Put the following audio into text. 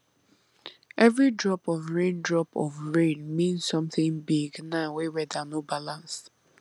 every drop of rain drop of rain mean something big now wey weather no balance